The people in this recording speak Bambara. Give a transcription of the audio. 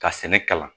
Ka sɛnɛ kalan